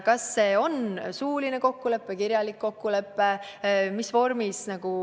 Kas see on suuline kokkulepe või kirjalik kokkulepe?